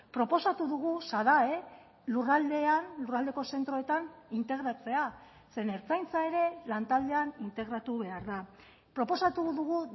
proposatu dugu sadae lurraldean lurraldeko zentroetan integratzea zeren ertzaintza ere lantaldean integratu behar da proposatu dugu